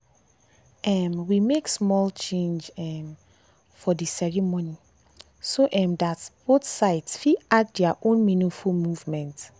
um we make small change um for dey ceremony so um that both sides fit add their own meaningful movement.